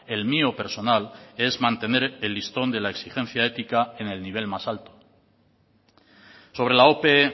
el mío personal es mantener el listón de la exigencia ética en el nivel más alto sobre la ope